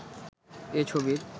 এ ছবির